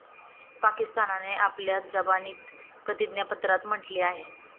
पाकिस्तानने आपल्या जबानीत प्रतिज्ञापत्रात म्हटले आहे.